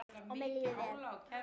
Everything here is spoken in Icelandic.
Og mér líður vel.